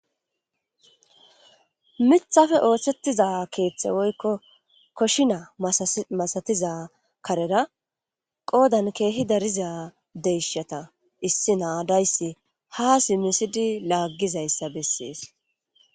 mithafe oohsettiza keeththe woykko koshina masatiza karera qoodan keehi dariza deyshata issi naadayssi haa simisidi laaggizayssa bessees